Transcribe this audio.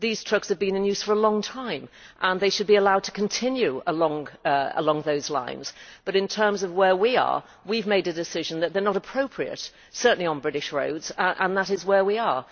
These trucks have been in use for a long time and they should be allowed to continue along those lines. But in terms of where we are, we have made a decision that they are not appropriate certainly on British roads and that is where we are.